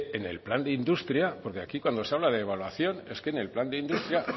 en el plan de industria porque aquí cuando se habla de evaluación es que en el plan de industria